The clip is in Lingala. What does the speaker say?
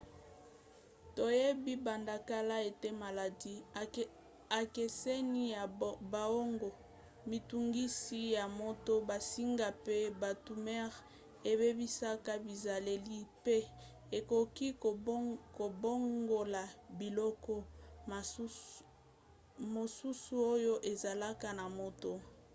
toyebi banda kala ete maladi ekeseni ya boongo mitungisi ya moto bansinga mpe batumeur ebebisaka bizaleli mpe ekoki kobongola biloko mosusu oyo ezalaka na moto